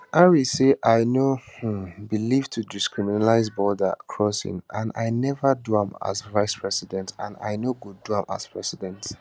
harris say i no um believe to decriminalise border crossings and i neva do am as vicepresident and i no go do am as president